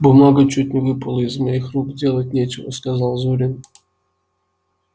бумага чуть не выпала из моих рук делать нечего сказал зурин